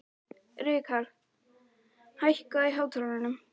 Rikharð, hækkaðu í hátalaranum.